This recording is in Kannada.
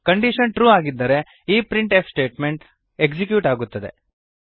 ಕಂಡೀಶನ್ ಟ್ರು ಆಗಿದ್ದರೆ ಈ ಪ್ರಿಂಟ್ ಎಫ್ ಸ್ಟೇಟ್ಮೆಂಟ್ ಎಕ್ಸಿಕ್ಯೂಟ್ ಆಗುತ್ತದೆ